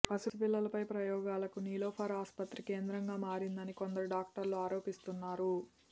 పసి పిల్లలపై ప్రయోగాలకు నిలోఫర్ ఆసుపత్రి కేంద్రంగా మారిందని కొందరు డాక్టర్లు ఆరోపిస్తున్నారు